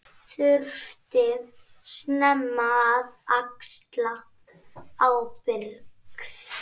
Þurfti snemma að axla ábyrgð.